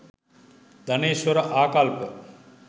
ධනේශ්වර ආකල්ප